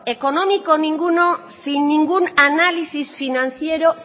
económico ninguno sin ningún análisis financiero